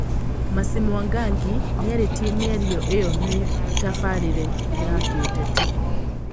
Mercy Mwangangi nĩaritie mĩario ĩyo mĩtabarĩre ya kĩũteti